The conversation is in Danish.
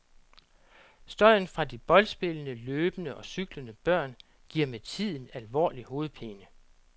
Støjen fra de boldspillende, løbende og cyklende børn giver med tiden alvorlig hovedpine.